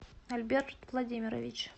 альберт владимирович